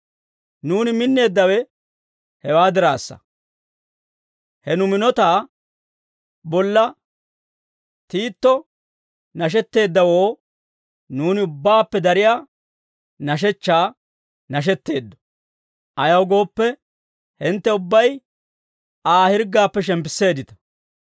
Nuuni minneeddawe hewaa diraassa; he nu minotaa bolla, Tiito nashetteeddawoo nuuni ubbaappe dariyaa nashechchaa nashetteeddo. Ayaw gooppe, hintte ubbay Aa hirggaappe shemppisseeddita.